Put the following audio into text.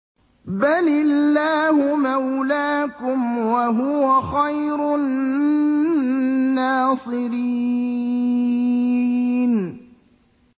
بَلِ اللَّهُ مَوْلَاكُمْ ۖ وَهُوَ خَيْرُ النَّاصِرِينَ